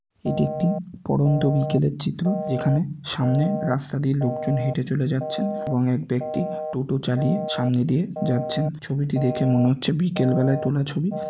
এটি একটি পড়ন্ত বিকেলের চিত্র যেখানে সামনে রাস্তা দিয়ে লোকজন হেটে চলে যাচ্ছেন এবং এক ব্যক্তি টোটো চালিয়ে সামনে দিয়ে যাচ্ছেন ছবিটি দেখে মনে হচ্ছে বিকেলবেলা তোলা ছবি।